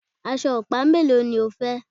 Aṣọ ọ̀pá mélòó ni o fẹ́?